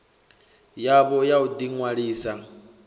yavho ya u ḓi ṅwalisa